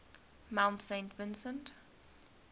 mount saint vincent